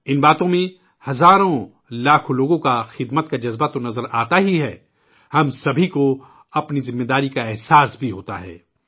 ان باتوں میں ہزاروں لاکھوں لوگوں کے خدمت کا جذبہ تو نظر آتا ہی ہے، ہم سبھی کو اپنی ذمہ داری کا احساس دلاتا ہے